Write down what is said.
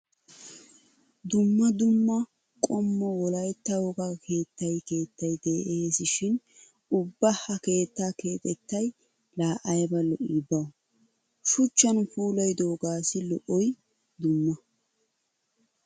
Dumma dumma qommo wolaytta wogaa keettay keettay de'eesi shin ubba ha keettaa keexettay laa ayba lo'ii bawu! Shuchchan puulayidoogaassi lo'oy dumma!